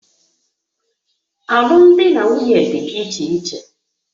Alụmdi na nwunye dị iche iche